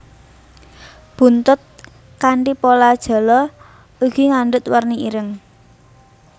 Buntut kanthi pola jala ugi ngandhut warni ireng